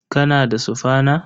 Kana da sufana?